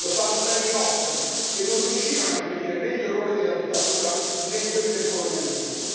Lo sanno bene i nostri che non riuscirono a impedire né gli errori della dittatura né quelli del colonialismo.